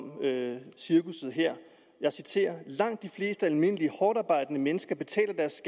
cirkusset her jeg citerer langt de fleste almindelige hårdtarbejdende mennesker betaler deres